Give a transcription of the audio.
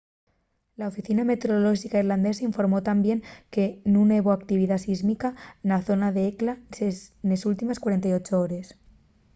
la oficina meteorolóxica islandesa informó tamién que nun hebo actividá sísmica na zona d’hekla nes últimes 48 hores